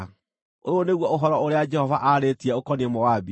Ũyũ nĩguo ũhoro ũrĩa Jehova aarĩtie ũkoniĩ Moabi.